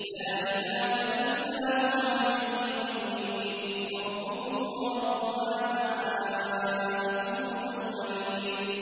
لَا إِلَٰهَ إِلَّا هُوَ يُحْيِي وَيُمِيتُ ۖ رَبُّكُمْ وَرَبُّ آبَائِكُمُ الْأَوَّلِينَ